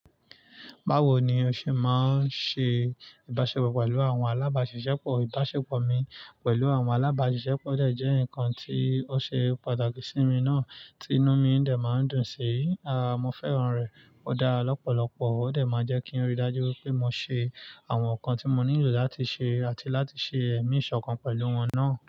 Báwo ni o ṣe máa ń ṣe ìbáṣepọ̀ pẹ̀lú àwọn alábàáṣiṣẹ́ pọ̀? Ìbáṣepọ̀ mi pẹ̀lú àwọn alábàáṣiṣẹ́ pọ̀ jẹ́ ǹkan tí ó ṣe pàtàkì sí mi náà tí inú mi ń dẹ̀ máa ń dùn sí. Aà, mo fẹ́ran rẹ̀, ó dára lọ́pọ̀lọpọ̀, ó dé máa ń jẹ́ kí n ríi dájú pé mo ṣe àwọn nǹkan tí mo nílò láti ṣe àti láti ṣe ẹ̀mí ìṣọ̀kan pẹ̀lú wọn náà.